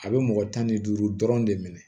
A bɛ mɔgɔ tan ni duuru dɔrɔn de minɛ